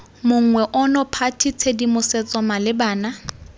monngwe ono party tshedimosetso malebana